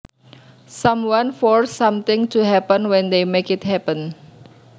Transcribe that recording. Someone forces something to happen when they make it happen